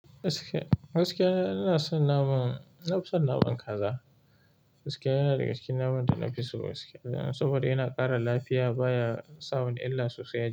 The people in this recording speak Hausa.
Gaskiya, gaskiya ina son naman, na fi son naman kaza. Gaskiya yana daga cikin naman da na fi so gaskiya saboda yana ƙara lafiya baya sa wani illa sosai a.